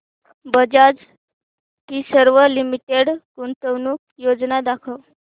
Bajaj Finserv limited गुंतवणूक योजना दाखव